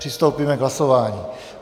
Přistoupíme k hlasování.